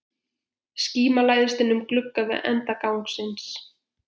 Skíma læðist inn um glugga við enda gangsins.